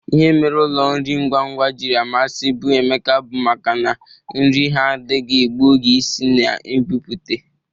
Ihe mere ụlọ nri ngwangwa jiri amasịbụ Emeka bụ maka na nri ha adịghị egbu oge isi na ibụpute.